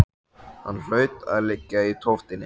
Hann hlaut þá að liggja í tóftinni.